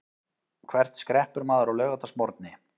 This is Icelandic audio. Hvert skreppur maður á laugardagsmorgni?